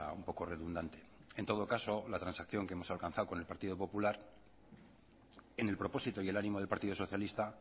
un poco redundante en todo caso la transacción que hemos alcanzado con el partido popular en el propósito y el ánimo del partido socialista